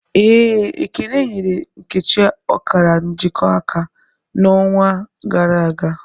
ee, Ekene nyere nkechi okara njiko aka, na'onwa gara aga.